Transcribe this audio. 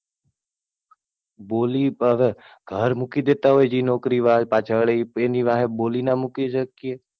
બોલી હવે ઘર મૂકી દેતા હોય, નોકરી પાછળ એની વાહે બોલી ના મૂકી શકીએ.